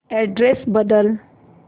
address बदल